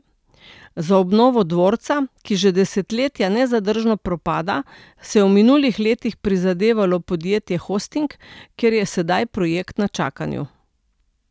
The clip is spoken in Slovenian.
Za obnovo dvorca, ki že desetletja nezadržno propada, si je v minulih letih prizadevalo podjetje Hosting, kjer je sedaj projekt na čakanju.